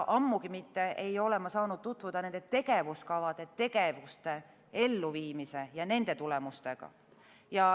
Ammugi pole ma saanud tutvuda nende tegevuskavade tegevuste elluviimise ja nende tulemustega.